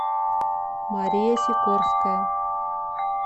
мария сикорская